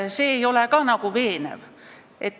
See ei ole veenev.